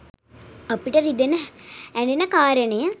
අපිට රිදෙන ඇ‍ඬෙන කාරණය